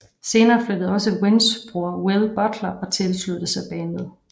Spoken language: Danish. Senere flyttede også Wins bror Will Butler og tilsluttede sig bandet